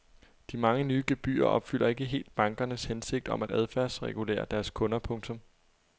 De mange nye gebyrer opfylder ikke helt bankernes hensigt om at adfærdsregulere deres kunder. punktum